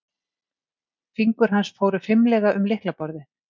Fingur hans fóru fimlega um lyklaborðið.